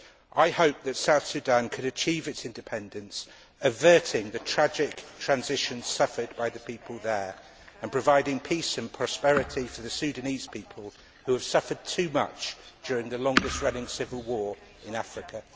I hope that South Sudan can achieve its independence while averting the tragic transition suffered by the people of East Timor and providing peace and prosperity for the Sudanese people, who have suffered too much during the longest running civil war in Africa.